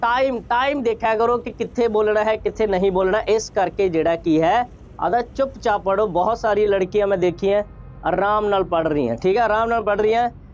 time time ਦੇਖਿਆ ਕਰੋ ਕਿ ਕਿੱਥੇ ਬੋਲਣਾ ਹੈ, ਕਿੱਥੇ ਨਹੀਂ ਬੋਲਣਾ, ਇਸ ਕਰਕੇ ਜਿਹੜਾ ਕਿ ਹੈ, ਅਗਰ ਚੁੱਪ-ਚਾਪ ਪੜ੍ਹੋ, ਬਹੁਤ ਸਾਰੀ ਲੜਕੀਆਂ ਮੈਂ ਦੇਖੀਆਂ, ਆਰਾਮ ਨਾਲ ਪੜ੍ਹ ਰਹੀਆਂ, ਠੀਕ ਹੈ, ਆਰਾਮ ਨਾਲ ਪੜ੍ਹ ਰਹੀਆਂ।